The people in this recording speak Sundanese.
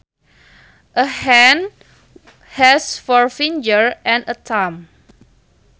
A hand has four fingers and a thumb